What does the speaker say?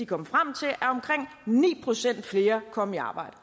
kom frem til at at omkring ni procent flere kom i arbejde